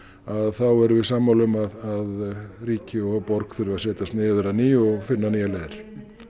þá erum við sammála um að ríki og borg þurfi að setjast niður að nýju og finna nýjar leiðir